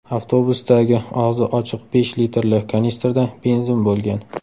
Avtobusdagi og‘zi ochiq besh litrli kanistrda benzin bo‘lgan.